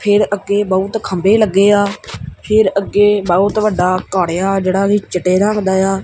ਫ਼ਿਰ ਅੱਗੇ ਬਹੁਤ ਖੰਭੇ ਲੱਗੇਆ ਫ਼ਿਰ ਅੱਗੇ ਬਹੁਤ ਵੱਡਾ ਘੱਰ ਆ ਜੇਹੜਾ ਕੀ ਚਿੱਟੇ ਰੰਗ ਦਾ ਯਾ।